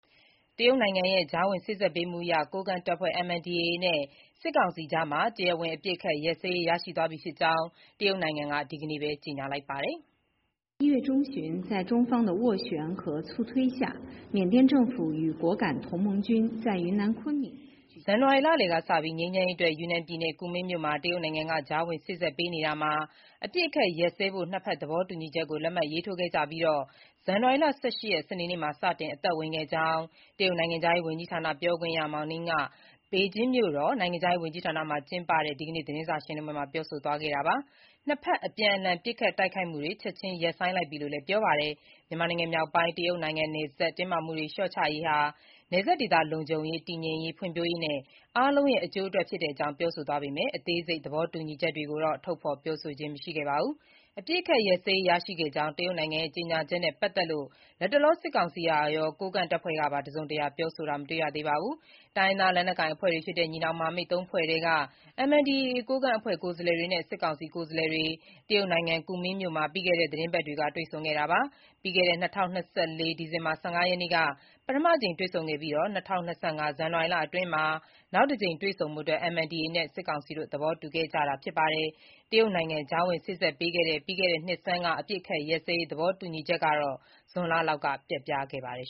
တရုတ်နိုင်ငံရဲ့ ကြားဝင်စေ့စပ်ပေးမှုအရ MNDA ကိုးကန့်တပ်ဖွဲ့နဲ့ စစ်ကောင်စီအကြား တရားဝင် အပစ်အခတ်ရပ်စဲရေး ရရှိသွားပြီဖြစ်ကြောင်း တရုတ်နိုင်ငံက ဒီကနေ့ပဲ ကြေညာလိုက်ပါတယ်။ ဇန်နဝါရီ လလယ်ကစ ငြိမ်းချမ်းရေးအတွက် ယူနန်ပြည်နယ်၊ ကူမင်းမြို့မှာ တရုတ်နိုင်ငံက ကြားဝင်စေ့စပ်ပေးနေရာမှာ၊ အပစ်အခတ်ရပ်စဲဖို့ ၂ ဖက် သဘောတူညီချက်ကို လက်မှတ်ထိုးခဲ့ကြပြီး၊ ဇန်နဝါရီလ ၁၈ ရက်၊ စနေနေ့မှာ စတင်အသက်ဝင်ခဲ့ကြောင်း တရုတ်နိုင်ငံခြားရေးဝန်ကြီးဌာန ပြောခွင့်ရ Mao Ning က ပေကျင်းမြို့တော်က နိုင်ငံခြားရေးဝန်ကြီးဌာနမှာ ကျင်းပတဲ့ ဒီကနေ့ သတင်းစာရှင်းလင်းပွဲမှာ ပြောဆိုသွားတာပါ။ နှစ်ဖက် အပြန်အလှန် ပစ်ခတ်တိုက်ခိုက်မှုတွေ ချက်ခြင်းရပ်ဆိုင်းလိုက်ပြီလို့လည်း ပြောပါတယ်။ မြန်မာနိုင်ငံမြောက်ပိုင်း တရုတ်နိုင်ငံနယ်စပ် တင်းမာမှုတွေ လျှော့ချရေးဟာ နယ်စပ်ဒေသ လုံခြုံရေး၊ တည်ငြိမ်ရေး၊ ဖွံ့ဖြိုးရေးနဲ့ အားလုံးရဲ့ အကျိုးအတွက် ဖြစ်တဲ့အကြောင်း ပြောဆိုသွားပေမဲ့ အသေးစိတ် သဘောတူညီချက်တွေကိုတော့ ထုတ်ဖေါ် ပြောဆိုခြင်း မရှိပါဘူး။ အပစ်အခတ် ရပ်စဲရေး ရရှိခဲ့ကြောင်း တရုတ်နိုင်ငံရဲ့ ကြေညာချက်နဲ့ ပတ်သက်လို့ လတ်တလော စစ်ကောင်စီကရော၊ ကိုးကန့်တပ်ဖွဲ့ကပါ တစုံတရာ ပြောဆိုတာတော့ မတွေ့ရသေးပါဘူး။ တိုင်းရင်းသားလက်နက်ကိုင်အဖွဲ့တွေဖြစ်တဲ့ ညီနောင်မဟာမိတ် ၃ ဖွဲ့ထဲက MNDAA ကိုးကန့် အဖွဲ့ကိုယ်စားလှယ်တွေနဲ့ စစ်ကောင်စီ ကိုယ်စားလှယ်တွေ တရုတ်နိုင်ငံ ကူမင်းမြို့မှာ ပြီးခဲ့တဲ့ သီတင်းပတ်က တွေ့ဆုံခဲ့တာပါ။ ပြီးခဲ့တဲ့ ၂၀၂၄ ဒီဇင်ဘာ ၁၅ ရက်နေ့က ပထမအကြိမ် တွေ့ဆုံခဲ့ပြီး ၂၀၂၅ ဇန်နဝါရီ အတွင်းမှာ နောက်တကြိမ် တွေ့ဆုံဖို့ MNDAA နဲ့ စစ်ကောင်စီ သဘောတူခဲ့ကြတာဖြစ်ပါတယ်။ တရုတ်နိုင်ငံ ကြားဝင်စေ့စပ်ပေးတဲ့ ပြီးခဲ့တဲ့နှစ်ဆန်းက အပစ်အခတ်ရပ်စဲရေး သဘောတူညီချက်ဟာ ဇွန်လလောက်မှာ ပျက်ပြားခဲ့ပါတယ်